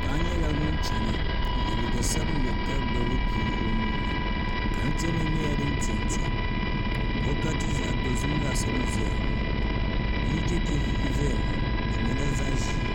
paɣa nyɛla ŋun chɛna n yɛ liiga sabinli ka gbubi bia o nuuni tanti nim nyɛla din tinti bɔkati zaɣ dozim laasabu n ʒɛya ŋɔ bia chɛchɛ n ʒɛya ŋɔ di nyɛla zaɣ ʒiɛ